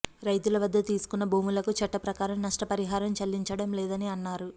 రైతుల వద్ద తీసుకున్న భూములకు చట్టప్రకారం నష్టపరిహారం చెల్లించడం లేదని అన్నారు